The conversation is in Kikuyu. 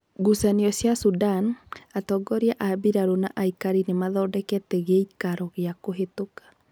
Ngucanio cia Sudani: Atongoria a mbiraru na aĩkarĩ nimathondekete giikaro gia kuhituka.